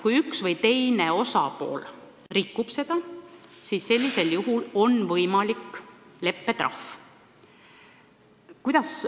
Kui üks või teine osapool seda rikub, siis on võimalik rakendada leppetrahvi.